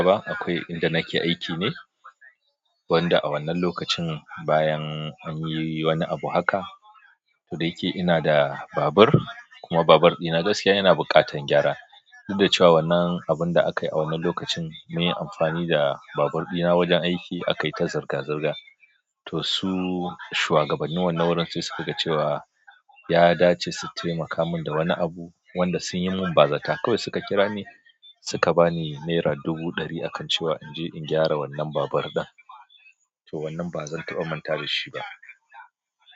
Ba akwai inda nake aiki ne, wanda a wannan lokacin bayan an yi wani abu haka ko ɗaya ke ina da babur kuma babur ɗina gaskiya yana buƙatar gyara. Duk da cewa wannan abun da aka yi a wannan lokacin mun yi amfani da babur ɗina wajen aiki aka yi ta zirga-zirga to su shuwa gabannin wannan wurin sai suka ga cewa ya dace su taimaka mun da wani abu wanda sun yi mun bazata kawai suka kira ni suka ba ni nera dubu ɗari akan cewa in je in gyara wannan babur ɗin to wannan ba zan taɓa manta da shi ba.